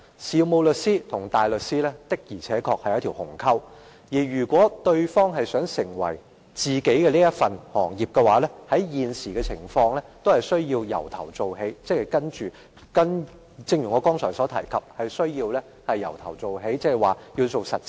事務律師與大律師之間確有一道鴻溝，如果某一方有意轉為從事另一種專業，按照現時的規定，是必須從頭做起，即一如我剛才所說，要從實習開始。